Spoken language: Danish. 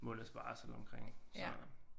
En måneds barsel omkring så